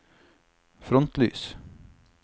frontlys